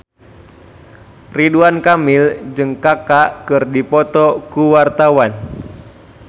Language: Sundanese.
Ridwan Kamil jeung Kaka keur dipoto ku wartawan